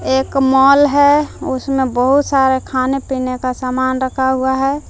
एक मॉल है उसमें बहुत सारे खाने पीने का सामान रखा हुआ है।